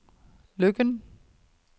Løkken